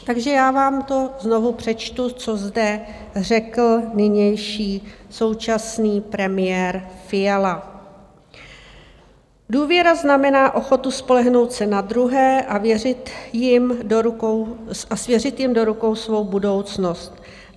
Takže já vám to znovu přečtu, co zde řekl nynější, současný premiér Fiala: Důvěra znamená ochotu spolehnout se na druhé a svěřit jim do rukou svou budoucnost.